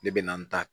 Ne bɛ na n ta